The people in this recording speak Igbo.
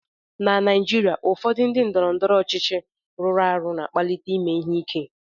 Na Naijiria, ụfọdụ ndị ndọrọndọrọ ọchịchị rụrụ arụ na-akpalite ime ihe ike